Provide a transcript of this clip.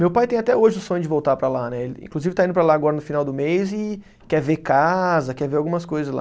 Meu pai tem até hoje o sonho de voltar para lá né ele, inclusive está indo para lá agora no final do mês e quer ver casa, quer ver algumas coisas lá.